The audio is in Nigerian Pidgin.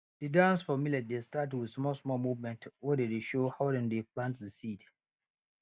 the dance for millet dey start with small small movement wey dey dey show how dem dey plant the seed